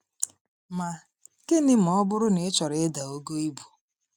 Ma, gịnị ma ọ bụrụ na ị chọrọ ịda ogo ibu?